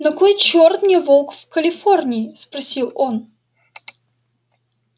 на кой чёрт мне волк в калифорнии спросил он